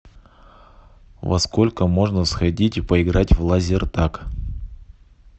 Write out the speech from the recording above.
во сколько можно сходить и поиграть в лазертаг